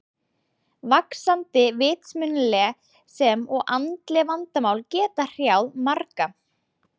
Vaxandi vitsmunaleg sem og andleg vandamál geta hrjáð marga.